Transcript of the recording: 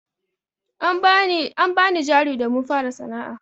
An bani jari domin fara sana'a.